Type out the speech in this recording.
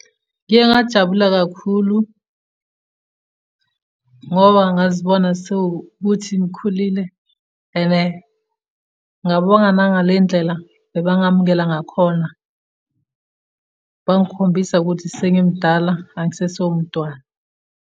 Ngiye ngajabula kakhulu, ngoba ngazibona sewukuthi ngikhulile and ngabonga nangale ndlela abangamukela ngakhona, bangikhombisa ukuthi sengimudala angisesiye umntwana.